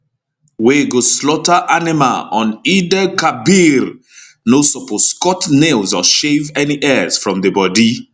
wey go slaughter animal on eidelkabir no suppose cut nails or shave any hairs from di bodi